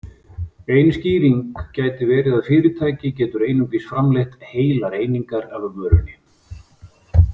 Ein skýring gæti verið að fyrirtæki getur einungis framleitt heilar einingar af vörunni.